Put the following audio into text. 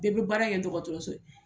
Bɛɛ bɛ baara kɛ dɔgɔtɔrɔso